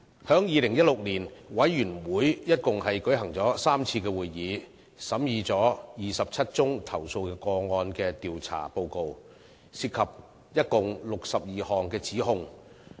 在2016年，委員會共舉行了3次會議，審議27宗投訴個案的調查報告，涉及共62項指控。